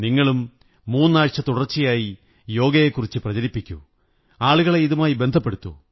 നിങ്ങളും മുന്നാഴ്ച തുടര്ച്ച യായി യോഗ യെക്കുറിച്ച് പ്രചരിപ്പിക്കൂ ആളുകളെ ഇതുമായി ബന്ധപ്പെടുത്തൂ